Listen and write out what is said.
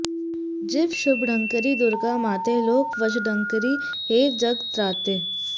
जीव शुभङ्करि दुर्गा माते लोक वशङ्करि हे जगत्राते